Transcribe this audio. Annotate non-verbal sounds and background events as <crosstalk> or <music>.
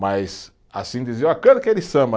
Mas, assim, dizer, ó, <unintelligible> aquele samba.